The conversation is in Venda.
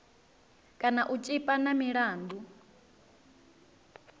kana u tshipa na milandu